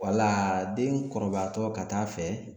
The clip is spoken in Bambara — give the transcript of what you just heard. Wala den kɔrɔbayatɔ ka taa'a fɛ